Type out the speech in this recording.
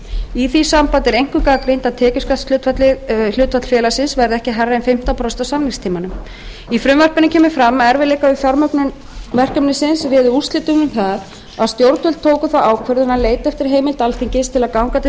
í því sambandi er einkum gagnrýnt að tekjuskattshlutfall félagsins verði ekki hærra en fimmtán prósent á samningstímanum í frumvarpinu kemur fram að erfiðleikar við fjármögnun verkefnisins réðu úrslitum um að stjórnvöld tóku þá ákvörðun að leita eftir heimild alþingis til að ganga til